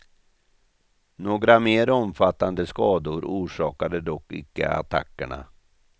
Några mer omfattande skador orsakade dock inte attackerna.